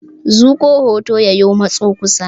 Zuƙo hoton ya yi matso kusa.